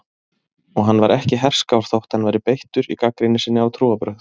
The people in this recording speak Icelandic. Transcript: Og hann var ekki herskár þótt hann væri beittur í gagnrýni sinni á trúarbrögð.